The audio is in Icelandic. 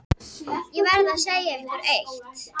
Ég verð að segja ykkur eitt.